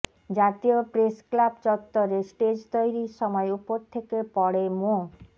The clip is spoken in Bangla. জাতীয় প্রেসক্লাব চত্বরে স্টেজ তৈরির সময় ওপর থেকে পড়ে মো